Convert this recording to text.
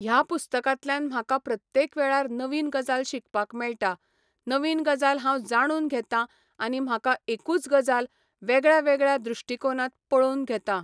ह्या पुस्तकांतल्यान म्हाका प्रत्येक वेळार नवीन गजाल शिकपाक मेळटा, नवीन गजाल हांव जाणून घेतां आनी म्हाका एकूच गजाल वेगळ्यावेगळ्या दृश्टीकोनांत पळोवन घेता.